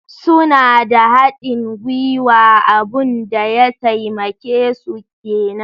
Suna da haɗin guiwa, abun da ya taimake su kenan.